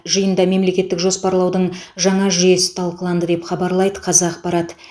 жиында мемлекеттік жоспарлаудың жаңа жүйесі талқыланды деп хабарлайды қазақпарат